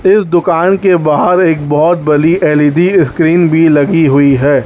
इस दुकान के बाहर एक बहोत बड़ी एल_इ_डी स्क्रीन भी लगी हुई हैं।